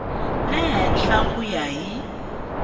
le henhla ku ya hi